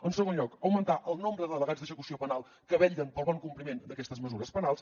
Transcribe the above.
en segon lloc augmentant el nombre de delegats d’execució penal que vetllen pel bon compliment d’aquestes mesures penals